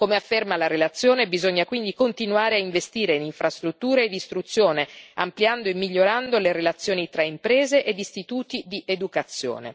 Come afferma la relazione, bisogna quindi continuare a investire in infrastrutture e in istruzione, ampliando e migliorando le relazioni tra imprese ed istituti di educazione.